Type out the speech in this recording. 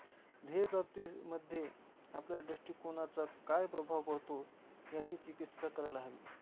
ध्येय प्राप्तिमध्ये आपल्या दृष्टीकोनाचा काय प्रभाव पडतो? याची चिकित्सा करायला हवी.